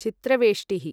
चित्रवेष्टिः